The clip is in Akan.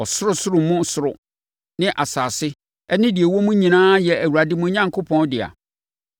Ɔsorosoro mu soro ne asase ne deɛ ɛwɔ mu nyinaa yɛ Awurade mo Onyankopɔn, dea.